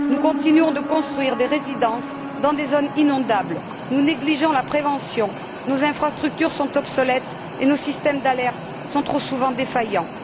Nous continuons de construire des résidences dans des zones inondables, nous négligeons la prévention, nos infrastructures sont obsolètes et nos systèmes d'alerte sont trop souvent défaillants.